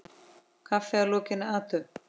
Kaffi að lokinni athöfn.